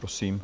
Prosím.